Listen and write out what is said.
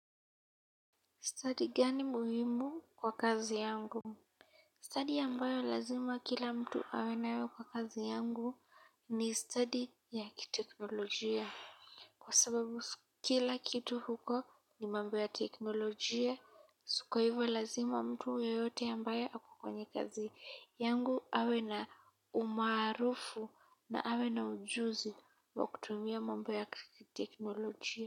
Study gani muhimu kwa kazi yangu? Study ambayo lazima kila mtu awe nayo kwa kazi yangu ni study ya kiteknolojia. Kwa sababu kila kitu huko ni mambo ya teknolojia, kwa hivyo lazima mtu yeyote ambaye ako kwenye kazi yangu awe na umaarufu na awe na ujuzi wa kutumia mambo ya kiteknolojia.